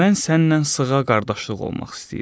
Mən sənnən sığa qardaşlıq olmaq istəyirəm.